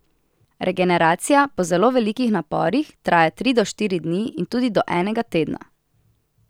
Regeneracija po zelo velikih naporih traja tri do štiri dni in tudi do enega tedna.